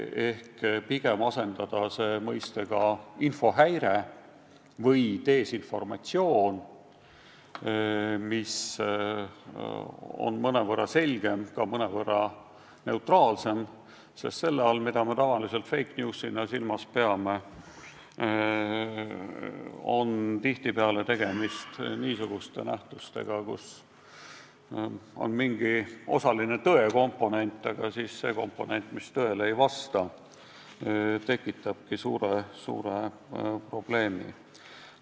Selle asemel võiks rääkida "infohäirest" või "desinformatsioonist", mis on mõnevõrra selgem ja ka mõnevõrra neutraalsem, sest selle puhul, mida me tavaliselt fake news'ina silmas peame, on tihtipeale tegemist niisuguste nähtustega, kus eksisteerib ka mingi osaline tõe komponent, aga see komponent, mis tõele ei vasta, tekitabki suure probleemi.